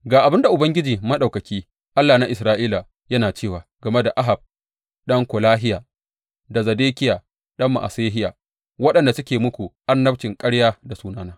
Ga abin da Ubangiji Maɗaukaki, Allah na Isra’ila, yana cewa game da Ahab ɗan Kolahiya da Zedekiya ɗan Ma’asehiya, waɗanda suke muku annabcin ƙarya da sunana.